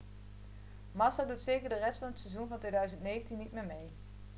massa doet zeker de rest van het seizoen van 2009 niet meer mee